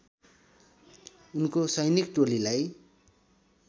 उनको सैनिक टोलीलाई